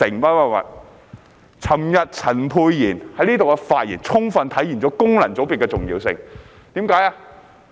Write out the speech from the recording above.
昨天，陳沛然議員在這裏的發言，充分體現功能界別的重要性。